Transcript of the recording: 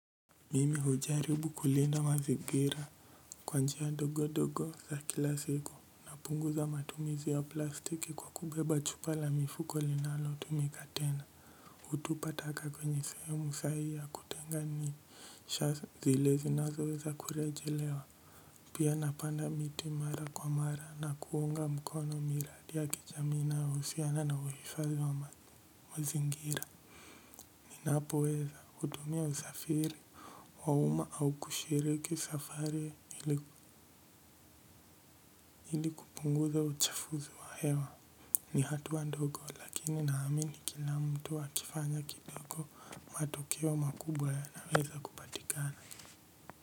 Mimi hujaribu kulinda mazingira kwa njia dogodogo za kila siku napunguza matumizi ya plastiki kwa kubeba chupa la mifuko linalo tumika tena hutupa taka kwenye sehemu sahihi ya kutenga nii sha zile zinazo weza kurejelewa pia napanda miti mara kwa mara na kuunga mkono miradi ya kijami inayo husiana na uifadhi wa mazingira ninapo weza hutumia usafiri wauma au kushiriki safari ili kupunguza uchafuzi wa hewa ni hatua ndogo lakini naamini kila mtu wa kifanya kidogo matokeo makubwa ya naweza kupatikana.